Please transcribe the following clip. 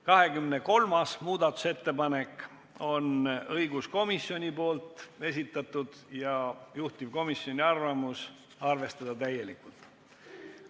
23. muudatusettepaneku on esitanud õiguskomisjon ja juhtivkomisjoni otsus on arvestada sedagi täielikult.